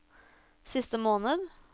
siste måned